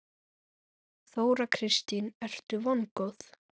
Þóra Kristín: Ertu vongóð?